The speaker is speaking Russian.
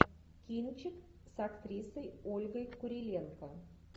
кинчик с актрисой ольгой куриленко